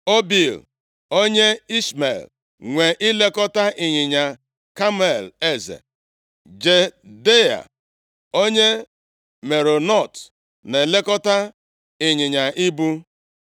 Obil onye Ishmel nwe ilekọta ịnyịnya kamel eze. Jehdeia onye Meronot na-elekọta ịnyịnya ibu.